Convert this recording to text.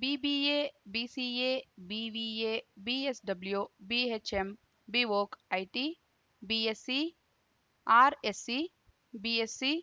BBA BCA BVA BSW BHM BVoc IT BSc RSc BSc